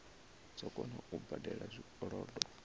dzo kona u badela zwikolodo